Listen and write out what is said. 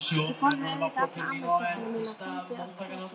Þau borðuðu auðvitað alla afmælistertuna mína og þömbuðu allt gosið.